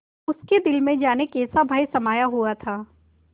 उसके दिल में जाने कैसा भय समाया हुआ था